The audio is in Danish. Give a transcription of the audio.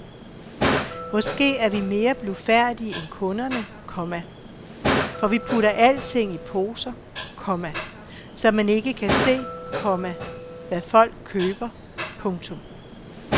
Måske er vi mere blufærdige end kunderne, komma for vi putter alting i poser, komma så man ikke kan se, komma hvad folk køber. punktum